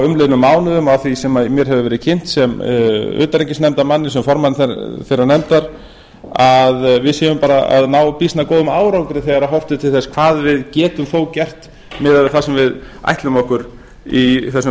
umliðnum mánuðum á því sem mér hefur verið kynnt sem utanríkisnefndarmanni sem formanni þeirrar nefndar að við séum bara að ná býsna góðum árangri þegar horft er til þess hvað við getum þó gert miðað við það sem ætlum okkur í þessum